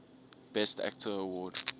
best actor award